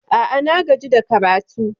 A'a, na gaji da karatu.